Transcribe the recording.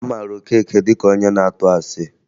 A mara Okeke dị ka onye na-atụ asị